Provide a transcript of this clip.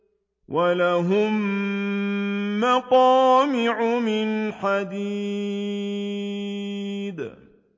وَلَهُم مَّقَامِعُ مِنْ حَدِيدٍ